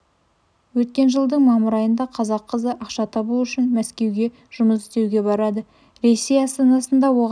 өткен жылдың мамыр айында қазақ қызы ақша табу үшін мәскеуге жұмыс істеуге барады ресей астанасында оған